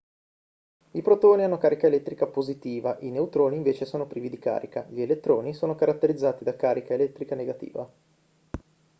i protoni hanno carica elettrica positiva i neutroni invece sono privi di carica gli elettroni sono caratterizzati da carica elettrica negativa